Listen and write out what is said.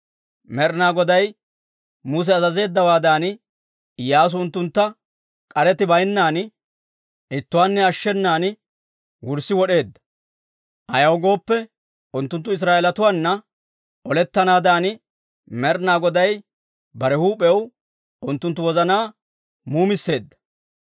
Med'ina Goday Musa azazeeddawaadan, Iyyaasu unttuntta k'aretti baynnan ittuwaanne ashshenan wurssi wod'eedda. Ayaw gooppe, unttunttu Israa'eelatuwaana olettanaadan Med'ina Goday bare huup'iyaw unttunttu wozanaa muumisseedda.